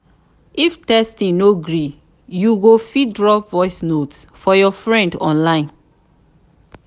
if texting no gree you you fit drop voice note for your friend online